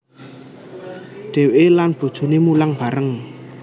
Dheweke lan bojoné mulang bareng